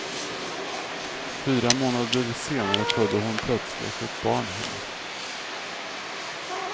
Fyra månader senare födde hon plötsligt ett barn hemma.